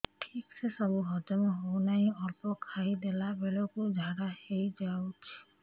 ଠିକସେ ସବୁ ହଜମ ହଉନାହିଁ ଅଳ୍ପ ଖାଇ ଦେଲା ବେଳ କୁ ଝାଡା ହେଇଯାଉଛି